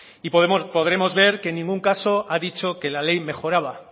y podremos ver que en ningún caso ha dicho que la ley mejoraba